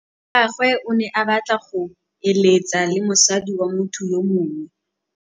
Monna wa gagwe o ne a batla go êlêtsa le mosadi wa motho yo mongwe.